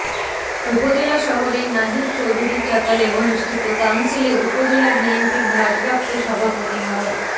উপজেলা শহরের নাহিদ চৌধুরীর চাতালে অনুষ্ঠিত কাউন্সিলে উপজেলা বিএনপির ভারপ্রাপ্ত সভাপতি মো